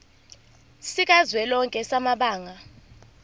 sikazwelonke samabanga r